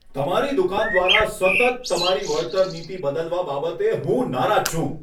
તમારી દુકાન દ્વારા સતત તમારી વળતર નીતિ બદલવા બાબતે હું નારાજ છું.